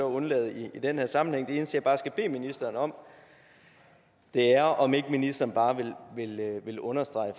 undlade i den her sammenhæng det eneste jeg bare skal bede ministeren om er om ikke ministeren vil understrege